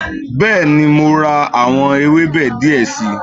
Bẹ́ẹ̀ni, mo ra àwọn ewébẹ̀ die si